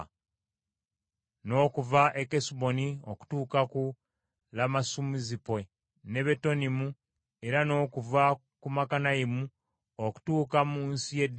n’okuva e Kesuboni okutuuka ku Lamasumizupe, ne Betonimu, era n’okuva ku Makanayimu okutuuka mu nsi y’e Debiri,